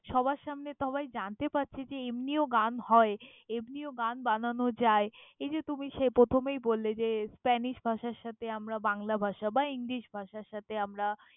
সবার সামনে সবাই জানতে পারছে যে এমনিও গান হয়, এমনিও গান বানানো যায়। এই যে সে তুমি প্রথমে বললে যে spanish ভাষার সাথে আমরা বাংলা ভাষা বা english ভাষার সাথে আমরা।